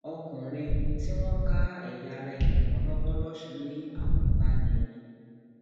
ọkùnrin um tí wọn ká ẹyà ara èèyàn mọ lọwọ lọsùn ní àkóbá ni um